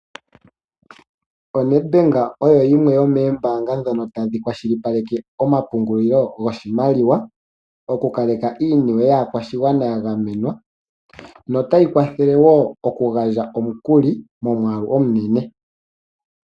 ONed bank oyo yimwe yomee mbaanga , ndhono tadhi kwashilipaleke oma pungulilo goshi maliwa, oku kaleka inima yaa kwashigwana ya gamenwa , no ta yi kwathele woo oku gandja omukuli mo mwaalu omunene.